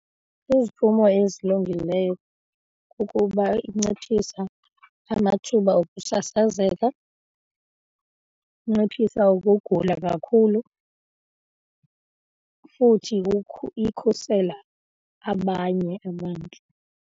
Iziphumo ezilungileyo kukuba inciphisa amathuba okusasazeka, inciphisa ukugula kakhulu futhi ikhusela abanye abantu.